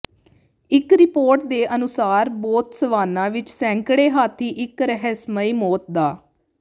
ਇਕ ਰਿਪੋਰਟ ਦੇ ਅਨੁਸਾਰ ਬੋਤਸਵਾਨਾ ਵਿੱਚ ਸੈਂਕੜੇ ਹਾਥੀ ਇੱਕ ਰਹੱਸਮਈ ਮੌਤ ਦਾ